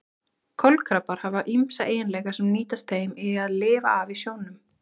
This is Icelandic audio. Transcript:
Kolkrabbar hafa ýmsa eiginleika sem nýtast þeim í að lifa af í sjónum.